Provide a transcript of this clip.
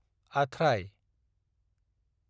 आथ्राय